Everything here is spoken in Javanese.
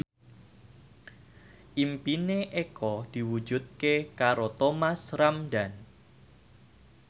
impine Eko diwujudke karo Thomas Ramdhan